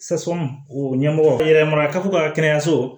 o ɲɛmɔgɔ yɛrɛ mara kafo ka kɛnɛyaso